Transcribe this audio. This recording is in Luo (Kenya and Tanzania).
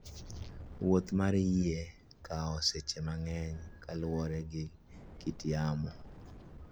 Wuoth mar yie kawo seche mang'eny kaluwore gi kit yamo.